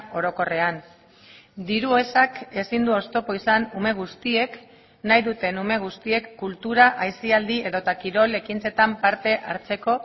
orokorrean diru ezak ezin du oztopo izan ume guztiek nahi duten ume guztiek kultura aisialdi edota kirol ekintzetan parte hartzeko